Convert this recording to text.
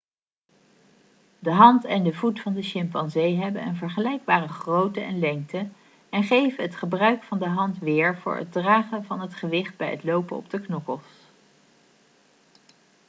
de hand en de voet van de chimpansee hebben een vergelijkbare grootte en lengte en geven het gebruik van de hand weer voor het dragen van het gewicht bij het lopen op de knokkels